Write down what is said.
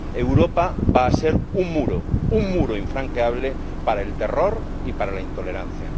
Europa va a ser un muro, un muro infranqueable para el terror y para la intolerancia.